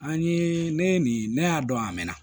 An ye ne ye nin ne y'a dɔn a mɛnna